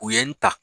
U ye n ta